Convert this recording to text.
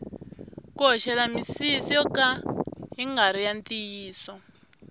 ku hoxela misisi yo ka ya ngari ya ntiyiso